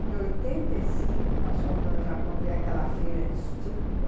Em oitenta e cinco, nós fomos ao Japão ver aquela feira de Tsukuba.